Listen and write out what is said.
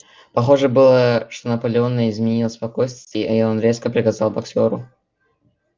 похоже было что наполеону изменило спокойствие и он резко приказал боксёру